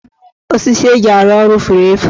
Osisi eji arụ ọrụ furu efu.